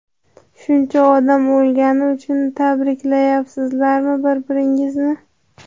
shuncha odam o‘lgani uchun tabriklayapsizlarmi bir-biringizni?.